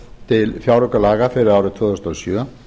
til fjáraukalaga fyrir árið tvö þúsund og sjö